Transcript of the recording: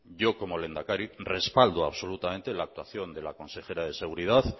yo como lehendakari respaldo absolutamente la actuación de la consejera de seguridad